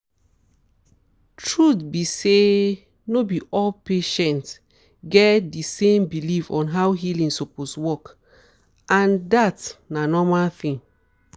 truth be sayno be all patients get di same belief on how healing suppose work and dat na normal thing